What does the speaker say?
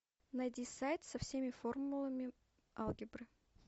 найди сайт со всеми формулами алгебры